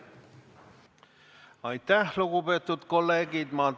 Aitäh, lugupeetud kolleegid!